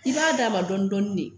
I b'a d'a ma dɔɔnin dɔɔnin de